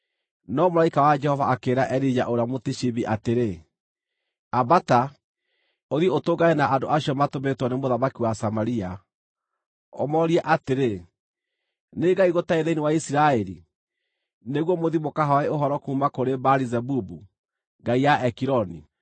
No mũraika wa Jehova akĩĩra Elija ũrĩa Mũtishibi atĩrĩ, “Ambata, ũthiĩ ũtũngane na andũ acio matũmĩtwo nĩ mũthamaki wa Samaria, ũmoorie atĩrĩ, ‘Nĩ Ngai gũtarĩ thĩinĩ wa Isiraeli nĩguo mũthiĩ mũkahooe ũhoro kuuma kũrĩ Baali-Zebubu, ngai ya Ekironi?’